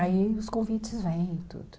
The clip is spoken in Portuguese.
Aí os convites vêm e tudo.